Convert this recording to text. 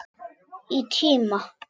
Í tíma.